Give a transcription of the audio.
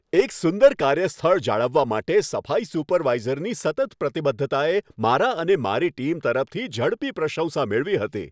એક સુંદર કાર્યસ્થળ જાળવવા માટે સફાઈ સુપરવાઈઝરની સતત પ્રતિબદ્ધતા મારા અને મારી ટીમ તરફથી ઝડપી પ્રશંસા મેળવી હતી.